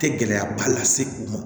Tɛ gɛlɛyaba lase u ma